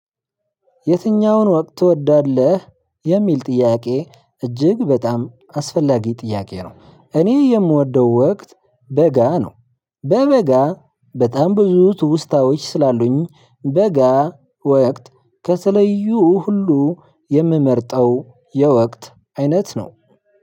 የትኛውን ወቅት ትወዳለህ? የሚል ጥያቄ እጅግ በጣም አስፈላጊ ጥያቄ ነው። እኔ የምወደው ወቅት በጋ ነው። በበጋ በጣም ብዙ ትውስታዎች ስላሉኝ በጋ ወቅት ከተለዩ ሁሉ የምመርጠው የወቅት አይነት ነው።